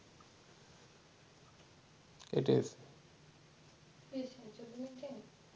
কেটে দেই